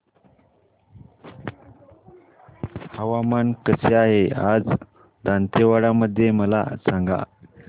हवामान कसे आहे आज दांतेवाडा मध्ये मला सांगा